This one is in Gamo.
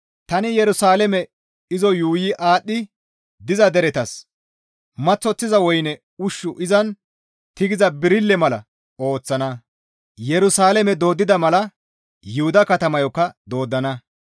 «Tani Yerusalaame izo yuuyi aadhdhi diza deretas maththosiza woyne ushshu izan tigiza birille mala ooththana; Yerusalaame dooddana mala Yuhuda katamayokka dooddana.